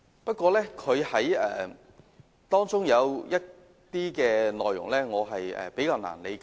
不過，她的修正案中有些內容我感到比較難以理解。